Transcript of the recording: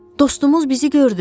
Dostumuz bizi gördü.